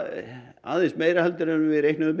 aðeins meira en við reiknuðum með